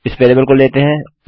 इस वेरिएबल को लेते है